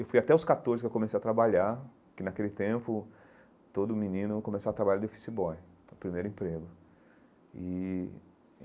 Eu fui até os catorze que eu comecei a trabalhar, que naquele tempo todo menino começava a trabalhar de, primeiro emprego e.